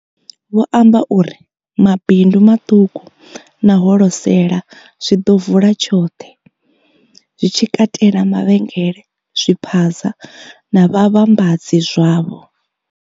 Vho amba uri. Mabindu maṱuku na holosela zwi ḓo vula tshoṱhe, zwi tshi katela mavhengele, zwiphaza na vhavhambadzi zwavho.